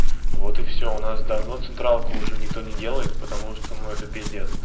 вот и все у нас давно централку уже никто не делает потому что ну это пиздец